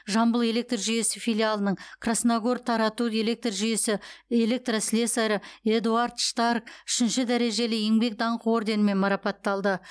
жамбыл электр жүйесі филиалының красногор тарату электр жүйесі электослесарі эдуард штарк үшінші дәрежелі еңбек даңқы орденімен марапатталды